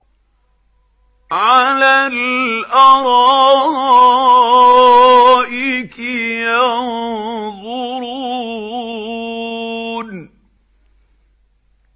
عَلَى الْأَرَائِكِ يَنظُرُونَ